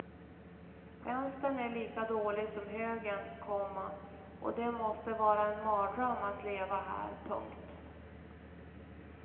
Vänstern är lika dålig som högern, komma och det måste vara en mardröm att leva här. punkt